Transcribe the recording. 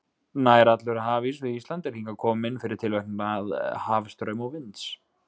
Nær allur hafís við Ísland er hingað kominn fyrir tilverknað hafstrauma og vinds.